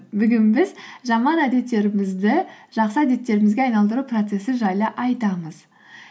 бүгін біз жаман әдеттерімізді жақсы әдеттерімізге айналдыру процессі жайлы айтамыз